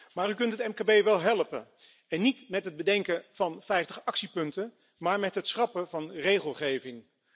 Maar u kunt het mkb wel helpen, en niet met het bedenken van vijftig actiepunten, maar met het schrappen van regelgeving.